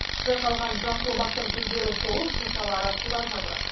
жайқалған жасыл бақтың гүлдері солып шыршалары қурап жатыр